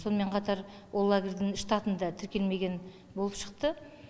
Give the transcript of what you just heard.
сонымен қатар ол лагерьдің штатында тіркелмеген болып шықты